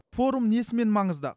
форум несімен маңызды